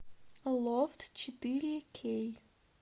лофт четыре кей